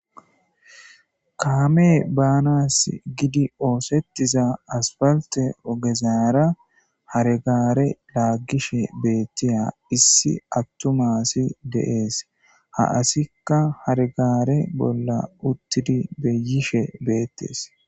kaamee baanas gidi oosettiza asfalte ogezara haregare laaggishe beettiya issi attumaasi deees ha asikka hargaare bolla uttidi beyishe beettes.